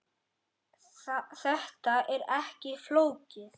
Þetta er ekki flókið